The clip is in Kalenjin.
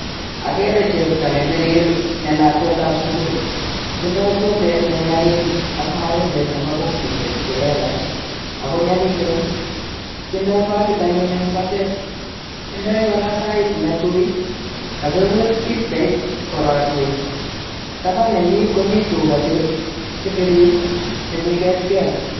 Okere chepto nebirir nelakwet ab sukul tindoi swetei ne nyalil ak marindet nebo bokisisyek chelelach ako nyolilen tindoi bakit anyun en batet, tindoi koraa sait kakiwir bijait kororie taban nenyin komii tuka chebirir chemii getgel.